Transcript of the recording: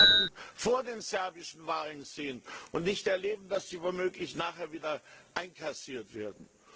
Wir wollen die Taten vor den serbischen Wahlen sehen und nicht erleben, dass sie womöglich nachher wieder einkassiert werden.